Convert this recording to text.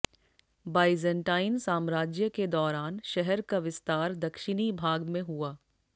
Byzantine साम्राज्य के दौरान शहर का विस्तार दक्षिणी भाग में हुआ